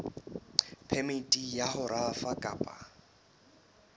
phemiti ya ho rafa kapa